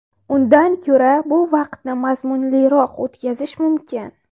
Undan ko‘ra bu vaqtni mazmunliroq o‘tkazish mumkin.